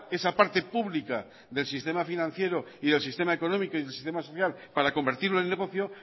esa parte pública del sistema financiero y del sistema económico y del sistema social para convertirlo en negocio